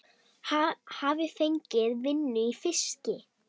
Hafi fengið vinnu í fiski.